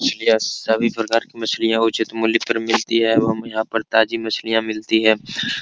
मछलिया सभी प्रकार की मछलियां उचित मुल्य पर मिलती है एवं यहां पर ताजी मछलिया मिलती है।